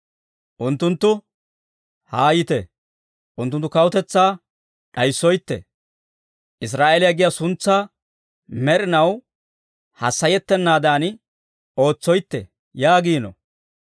Unttunttu, «Haayite, unttunttu kawutetsaa d'ayissoytee; Israa'eeliyaa giyaa suntsaa, med'inaw hassayettennaadan ootsoytte» yaagiino.